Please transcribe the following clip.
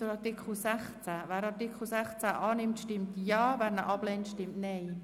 Wer Artikel 16 zustimmt, stimmt Ja, wer diesen ablehnt, stimmt Nein.